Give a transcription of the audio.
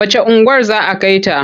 Wacce unguwar za a kai ta?